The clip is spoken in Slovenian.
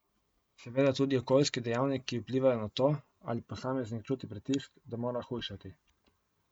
Seveda tudi okoljski dejavniki vplivajo na to, ali posameznik čuti pritisk, da mora hujšati.